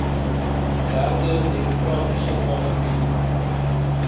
derde demokratiese parlement